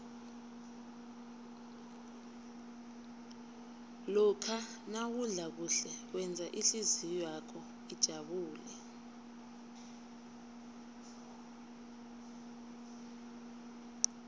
lokha nawudla kuhle wenza ihlizwakho ijabule